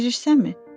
Bilirsənmi?